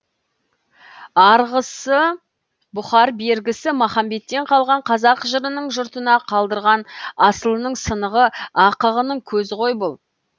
арғысы бұхар бергісі махамбеттен қалған қазақ жырының жұртына қалдырған асылының сынығы ақығының көзі ғой бұл